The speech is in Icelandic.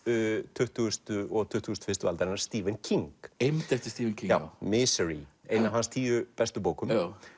tuttugustu og tuttugustu og fyrstu aldar Stephen King eymd eftir Stephen King já Misery ein af hans tíu bestu bókum